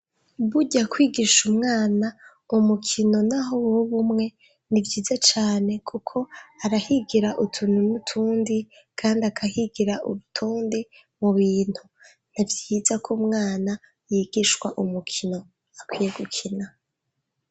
Burya kwigisha umwana umukino naho woba umwe nivyiza cane kuko arahigira utuntu nutundi kandi akahigira urutonde mubintu, nivyiza kw’umwana yigishwa umukino akwiye gukina.